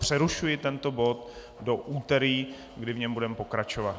Přerušuji tento bod do úterý, kdy v něm budeme pokračovat.